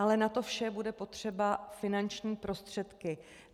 Ale na to vše budou potřeba finanční prostředky.